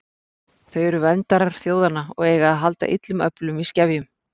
Þau eru verndarar þjóðanna og eiga að halda illum öflum í skefjum.